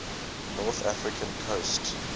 north african coast